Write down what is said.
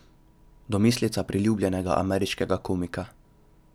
Domislica priljubljenega ameriškega komika.